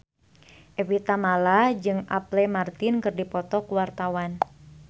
Evie Tamala jeung Apple Martin keur dipoto ku wartawan